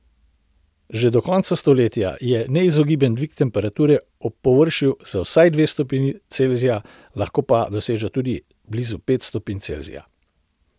Že do konca stoletja je neizogiben dvig temperature ob površju za vsaj dve stopinji Celzija, lahko pa doseže tudi blizu pet stopinj Celzija.